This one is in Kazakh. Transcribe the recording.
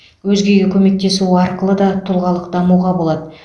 өзгеге көмектесу арқылы да тұлғалық дамуға болады